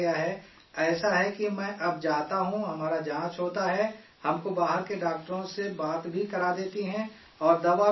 اسیے ہے کہ ہم اب جاتا ہوں، ہمارا جانچ ہوتا ہے، ہم کو باہر کے ڈاکٹروں سے بات بھی کرا دیتی ہیں اور دوا بھی دے دیتی ہیں